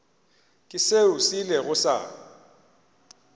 ke seo se ilego sa